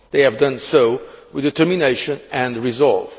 They have done so with determination and resolve.